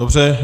Dobře.